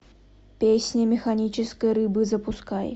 песни механической рыбы запускай